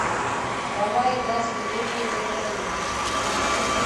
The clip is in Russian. давай играть в игру приветанье